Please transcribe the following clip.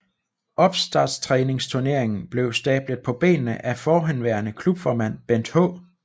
Opstarttræningsturneringen blev stablet på benene af forhenværende klubformand Bent H